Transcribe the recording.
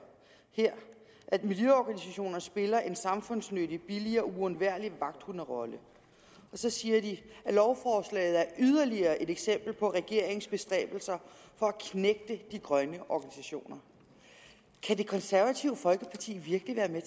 her at miljøorganisationerne spiller en samfundsnyttig billig og uundværlig vagthunderolle og så siger de at lovforslaget er yderligere et eksempel på regeringens bestræbelser for at knægte de grønne organisationer kan det konservative folkeparti virkelig være med